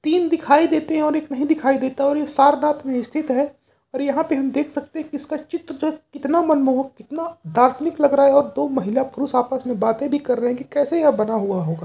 तीन दिखाई देते हैं और एक नहीं दिखाई देता है और यह सारनाथ में स्थित है और यहां पर हम देख सकते हैं कि इसका चित्र जो है कितना मनमोहक कितना दार्शनिक लग रहा है और दो महिला पुरुष आपस में बातें भी कर रहे हैं कि कैसे यह बना हुआ होगा।